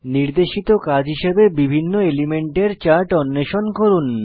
নির্দেশিত কাজ হিসাবে বিভিন্ন এলিমেন্টের চার্ট অন্বেষণ করুন